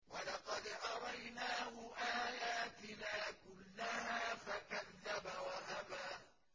وَلَقَدْ أَرَيْنَاهُ آيَاتِنَا كُلَّهَا فَكَذَّبَ وَأَبَىٰ